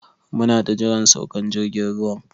Muna ta jiran saukan jirgin ruwan.